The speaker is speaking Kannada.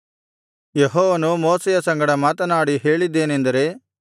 ಯೆಹೋವನು ಮೋಶೆಯ ಸಂಗಡ ಮಾತನಾಡಿ ಹೇಳಿದ್ದೇನೆಂದರೆ